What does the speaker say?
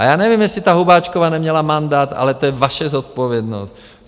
A já nevím, jestli ta Hubáčková neměla mandát, ale to je vaše zodpovědnost.